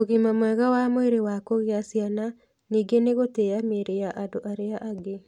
Ũgima mwega wa mwĩrĩ wa kũgĩa ciana ningĩ nĩ gũtĩa mĩĩrĩ ya andũ arĩa angĩ.